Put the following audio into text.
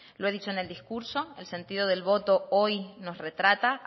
lo he dicho en el discurso el sentido del voto hoy nos retrata